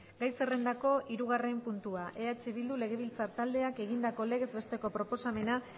gai zerrendako hirugarren puntua eh bildu legebiltzar taldeak egindako legez besteko proposamena